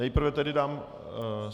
Nejprve tedy dám...